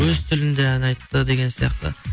өз тілінде ән айтты деген сияқты